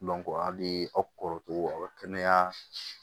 hali aw kɔrɔ aw ka kɛnɛya